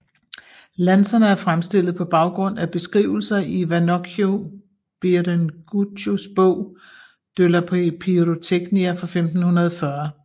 Lanserne er fremstillet på baggrund af beskrivelser i Vannoccio Biringuccios bog De la pirotechnia fra 1540